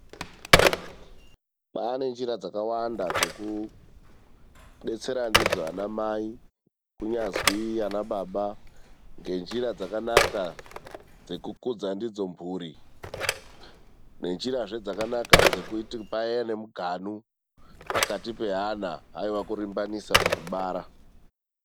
Pane njira dzakawanda dzekudetsera ndidzo ana mai, kunyazwi ana baba ngenjira dzakanaka dzekukudza ndidzo mburi, ngenjirazve dzakanaka dzekuti pave nemuganu pakati peana, haiwa kurimbanisa pakubara.